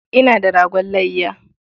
Ina da ragon layya.